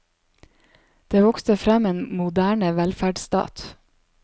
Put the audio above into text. Det vokste frem en moderne velferdsstat.